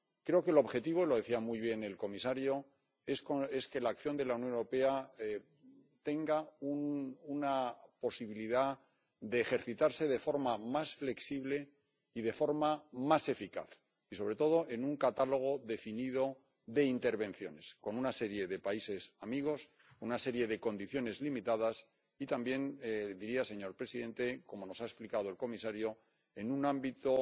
Creo que el objetivo —lo decía muy bien el comisario— es que la acción de la Unión Europea tenga una posibilidad de ejercitarse de forma más flexible y de forma más eficaz y, sobre todo, en un catálogo definido de intervenciones, con una serie de países amigos, una serie de condiciones limitadas y también diría, señor presidente, como nos ha explicado el comisario, en un ámbito